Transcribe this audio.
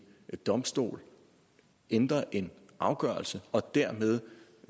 domstol ændrer en afgørelse og dermed